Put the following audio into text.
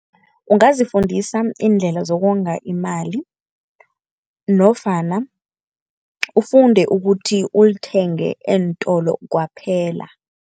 Ungazifundisa iindlela zokonga imali nofana ufunde ukuthi ulithenge eentolo kwaphela.